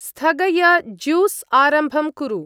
स्थगय juice आरम्भं कुरु।